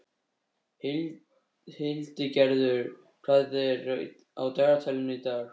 Hildigerður, hvað er á dagatalinu í dag?